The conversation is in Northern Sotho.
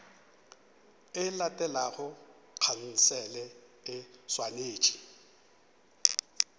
e latelago khansele e swanetše